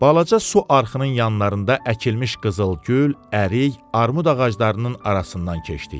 Balaca su arxının yanlarında əkilmiş qızıl gül, ərik, armud ağaclarının arasından keçdik.